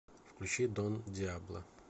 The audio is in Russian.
включи дон дьябло